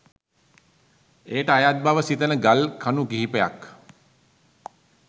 ඊට අයත් බව සිතන ගල් කණු කිහිපයක්